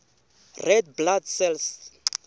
red blood cells